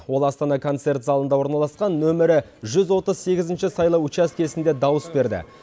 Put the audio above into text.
ол астана концерт залында орналасқан нөмірі жүз отыз сегізінші сайлау учаскесінде дауыс берді